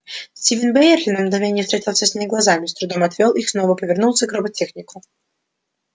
стивен байерли на мгновение встретился с ней глазами с трудом отвёл их и снова повернулся к роботехнику